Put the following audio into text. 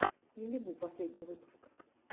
лилибу последний выпуск